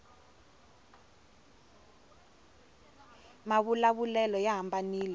mavula vulelo ya hambanile